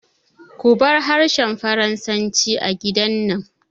Kubar harshen Faransanci a gidan nan!